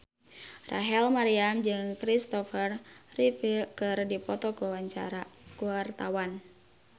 Rachel Maryam jeung Kristopher Reeve keur dipoto ku wartawan